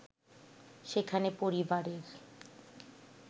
সেখানে পরিবারের